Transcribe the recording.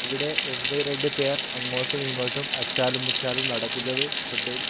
ഇവിടെ ഒന്ന് രണ്ട് പേർ അങ്ങോട്ടുമിങ്ങോട്ടും അച്ചാലും മുച്ചാലും നടക്കുന്നത് ശ്രദ്ധയിൽ--